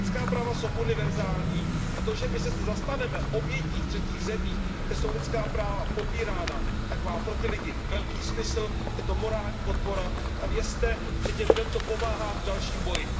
Lidská práva jsou univerzální, a to, že my se zastaneme obětí v třetích zemích, kde jsou lidská práva popírána, má pro ty lidi velký smysl, je to morální podpora a vězte, že těm lidem to pomáhá v dalším boji.